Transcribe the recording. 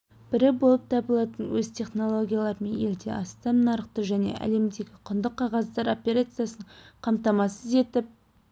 бірі болып табылатын өз технологияларымен елде астам нарықты және әлемдегі құнды қағаздар операциясының қамтамасыз етіп